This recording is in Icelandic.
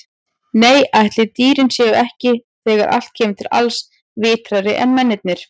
Nei, ætli dýrin séu ekki, þegar allt kemur til alls, vitrari en mennirnir.